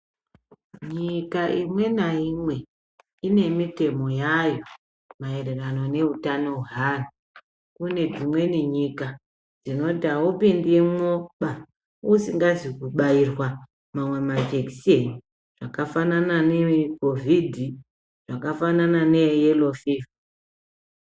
Nyika imwe naimwe ine mitemo yayo maererano neutano hweanhu. Kune dzimweni nyika dzinoti haupindimwoba usingazi kubairwa mamwe majekiseni akafanana neeCovid zvakafanana neyelo fivha.